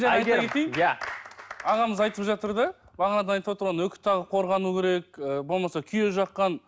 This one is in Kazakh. иә ағамыз айтып жатыр да бағанадан айтып отыр ғой үкі тағып қорғану керек ы болмаса күйе жаққан